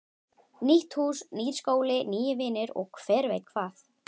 Nýtt hús, nýr skóli, nýir vinir og hver veit hvað.